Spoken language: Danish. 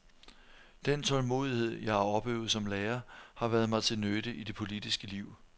Den tålmodighed, jeg har opøvet som lærer, har været mig til nytte i det politiske liv.